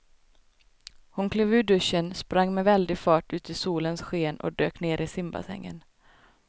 Hon klev ur duschen, sprang med väldig fart ut i solens sken och dök ner i simbassängen.